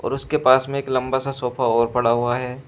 उसके पास में एक लंबा सा सोफा और पड़ा हुआ है।